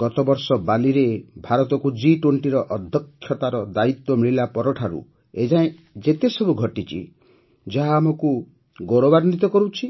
ଗତବର୍ଷ ବାଲିରେ ଭାରତକୁ ଜି୨୦ର ଅଧ୍ୟକ୍ଷତାର ଦାୟିତ୍ୱ ମିଳିବା ପର ଠାରୁ ଏ ଯାଏଁ ଏତେସବୁ ଘଟିଛି ଯାହା ଆମକୁ ଗୌରବାନ୍ୱିତ କରୁଛି